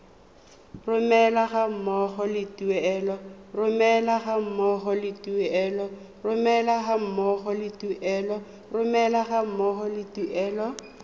romelwa ga mmogo le tuelo